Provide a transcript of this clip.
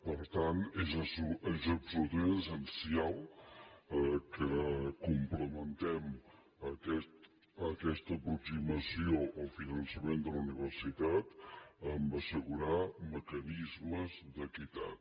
per tant és absolutament essencial que complementem aquesta aproximació al finançament de la universitat amb assegurar mecanismes d’equitat